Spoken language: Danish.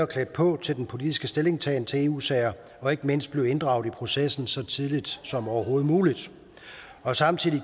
klædt på til den politiske stillingtagen til eu sager og ikke mindst at blive inddraget i processen så tidligt som overhovedet muligt samtidig